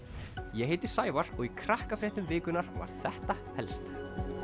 ég heiti Sævar og í Krakkafréttum vikunnar var þetta helst